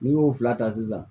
N'i y'o fila ta sisan